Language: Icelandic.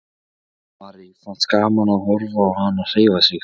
Valdimari fannst gaman að horfa á hana hreyfa sig.